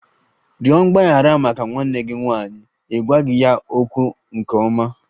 Rịọ mgbaghara maka nwanne gị nwanyị! Ị gwaghị ya okwu nke ọma.